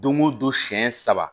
Don o don siɲɛ saba